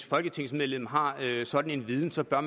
folketingsmedlem har sådan en viden så bør